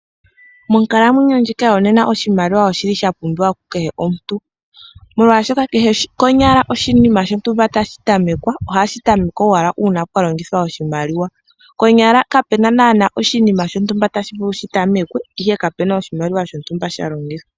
Monkalamwenyo ndjika yonena oshimaliwa oshili sha pumbiwa ku kehe omuntu molwashoka kehe konyala oshinima shontumba tashi tamekwa ohashi tamekwa owala una pwalongithwa oshimaliwa. Konyala kapena nana oshinima shontumba tashi vulu okutamekwa ihe kape na oshimaliwa shontumba sha longithwa.